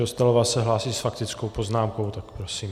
Dostálová se hlásí s faktickou poznámkou, tak prosím.